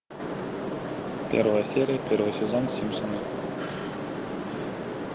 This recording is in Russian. первая серия первый сезон симпсоны